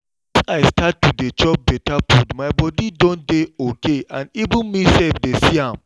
since i start to dey chop better food my body don dey okay and even me self dey see am